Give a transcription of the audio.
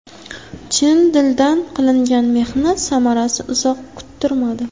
Chin dildan qilingan mehnat samarasi uzoq kuttirmadi.